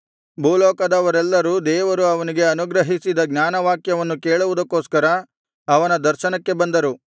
ಭೂಲೋಕದವರೆಲ್ಲರೂ ದೇವರು ಅವನಿಗೆ ಅನುಗ್ರಹಿಸಿದ ಜ್ಞಾನವಾಕ್ಯಗಳನ್ನು ಕೇಳುವುದಕ್ಕೋಸ್ಕರ ಅವನ ದರ್ಶನಕ್ಕೆ ಬಂದರು